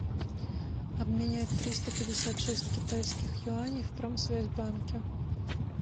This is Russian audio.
обменять триста пятьдесят шесть китайских юаней в промсвязьбанке